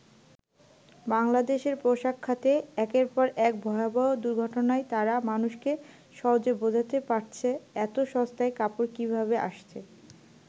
বাংলাদেশের পোশাক খাতে একের পর এক ভয়াবহ দুর্ঘটনায় তারা মানুষকে সহজে বোঝাতে পারছে এত সস্তায় কাপড় কিভাবে আসছে।